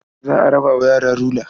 Za a raba wa yara rula.